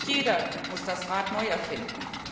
Nicht jeder muss das Rad neu erfinden.